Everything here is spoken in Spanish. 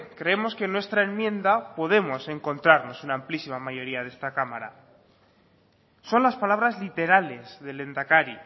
creemos que en nuestra enmienda podemos encontrarnos una amplísima mayoría de esta cámara son las palabras literales del lehendakari